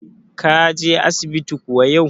Ka je asibiti kuwa yau?